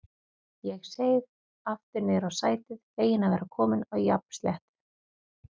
Ég seig aftur niður á sætið, feginn að vera kominn á jafnsléttu.